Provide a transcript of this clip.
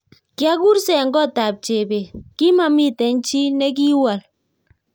Kyagursee eng kotab Chebet, kimamiten chii negiwol